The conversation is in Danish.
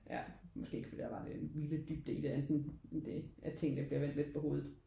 Ja måske ikke fordi der var den vilde dybde i det end det at tingene bliver vendt lidt på hovedet